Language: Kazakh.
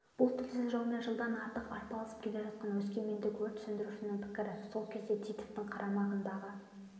бұл тілсіз жаумен жылдан артық арпаласып келе жатқан өскемендік өрт сөндірушінің пікірі сол кезде титовтың қарамағындағы